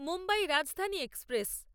Mumbai Rajdhani express